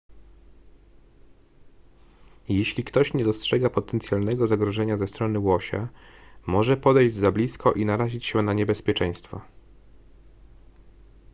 jeśli ktoś nie dostrzega potencjalnego zagrożenia ze strony łosia może podejść za blisko i narazić się na niebezpieczeństwo